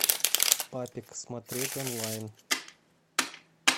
папик смотреть онлайн